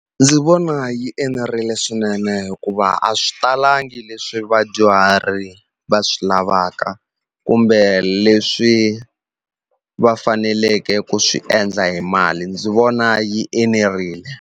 Ndzi vona yi enerile swinene hikuva a swi talangi leswi vadyuhari va swi lavaka kumbe leswi va faneleke ku swi endla hi mali ndzi vona yi enerile.